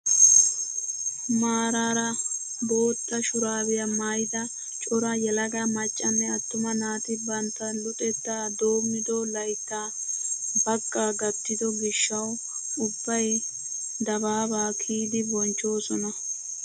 Maarara bootta shuraabiyaa maayida cora yelaga maccanne attuma naati bantta luxettaa doomido layttaa bagga gattido gishshawu ubbay dababaa kiyidi bochchoosona!